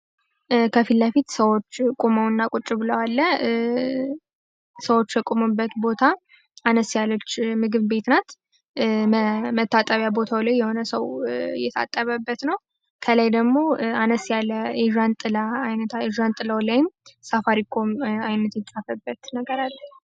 ከፊለፊት ሰዎች ቁመውና ቁጭ ብለዋል ቦታ አነስ ያለች የምግብ ቤት ናት። መታጠቢያ ቦታ ላይ የሆነ የታጠበበት ነው ከላይ ደግሞ አነስ ያን ጥላ አይነቶች ሳፋሪ ኮም አይነት የተጻፉበት አለ።